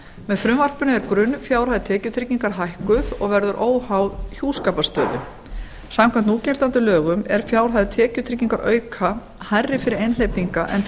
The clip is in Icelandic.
með frumvarpinu er grunnfjárhæð tekjutryggingar hækkuð og verður óháð hjúskaparstöðu samkvæmt núgildandi lögum er fjárhæð tekjutryggingarauka hærri fyrir einhleypinga en